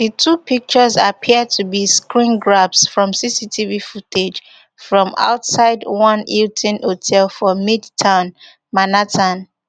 di two pictures appear to be screengrabs from cctv footage from outside one hilton hotel for midtown manhattan